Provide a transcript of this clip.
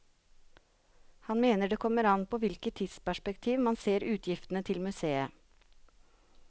Han mener det kommer an på i hvilket tidsperspektiv man ser utgiftene til museet.